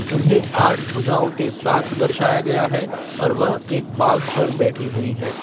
उन्हें आठ भुजाओं के साथ दर्शाया गया है और वह एक बाघ पर बैठी हुई है।